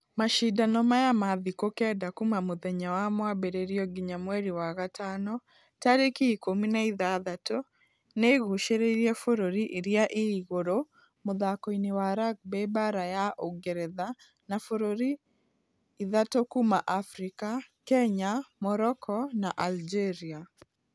Mashidano maya ma thikũ kenda kuuma mũthenya wa mwambĩrĩrio nginya mweri wa gatano tarĩki ikũmi na ithathatũ nĩĩgucĩrĩirie bũrũri iria i-igũrũ mũthako-inĩ wa rugby baara ya ũngeretha na bũrũri ithatũ kuuma africa , kenya, Morocco na algeria.